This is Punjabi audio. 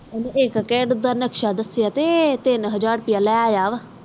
ਇਕ ਘਰ ਦਾ ਨਕਸ਼ਾ ਦਸਿਆ ਵ ਤੇ ਟੀਨ ਹਾਜ਼ਰ ਰੁਪਿਆ ਲੈ ਯਤਾ ਵਾ